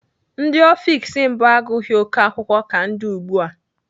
Ndị ọfiks mbụ agụghị oké akwụkwọ ka ndị ugbu a.